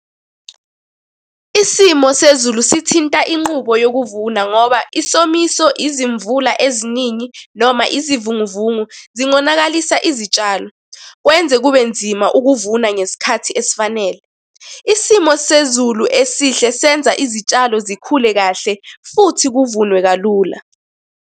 Isimo sezulu sithinta inqubo yokuvuna ngoba isomiso, izimvula eziningi, noma izivunguvungu, zingonakalisa izitshalo. Kwenze kube nzima ukuvuna ngesikhathi esifanele. Isimo sezulu esihle senza izitshalo zikhule kahle futhi kuvunwe kalula.